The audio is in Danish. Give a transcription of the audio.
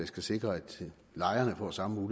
skal sikre at lejerne får samme